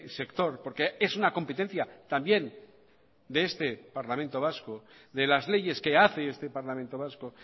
sector porque es una competencia también de este parlamento vasco de las leyes que hace este parlamento vasco